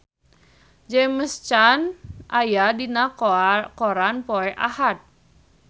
James Caan aya dina koran poe Ahad